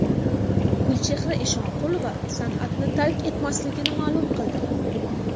Gulchehra Eshonqulova san’atni tark etmasligini ma’lum qildi.